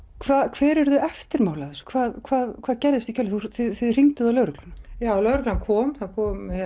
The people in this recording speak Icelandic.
hver urðu eftirmál af þessu hvað hvað hvað gerðist í kjölfarið þið hringduð á lögregluna já lögreglan kom það kom